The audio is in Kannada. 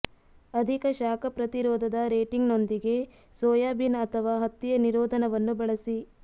ಅಧಿಕ ಶಾಖ ಪ್ರತಿರೋಧದ ರೇಟಿಂಗ್ನೊಂದಿಗೆ ಸೋಯಾಬೀನ್ ಅಥವಾ ಹತ್ತಿಯ ನಿರೋಧನವನ್ನು ಬಳಸಿ